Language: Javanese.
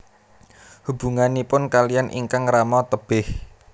Hubunganipun kaliyan ingkang rama tebih